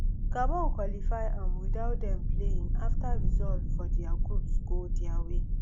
gabon qualify um without dem playing afta results for dia groups go dia way